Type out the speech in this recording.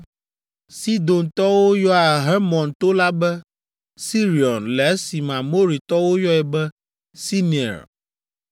(Sidontɔwo yɔa Hermon to la be Sirion le esime Amoritɔwo yɔe be Senir.)